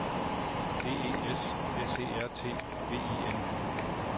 D E S S E R T V I N